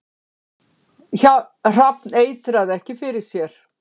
Hrafn eitraði ekki fyrir sér